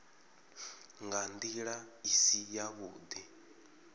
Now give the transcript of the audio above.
nga ndila i si yavhudi